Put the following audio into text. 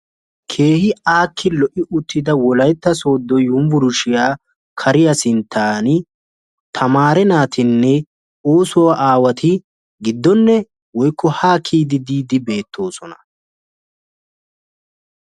Keehi aakki lo"i uttida wolaytta sooddo yunbburshshiya kariya sinttan tamaree naatinne ooso aawati giddonne woykko ha kiyyidi diide beettoosona.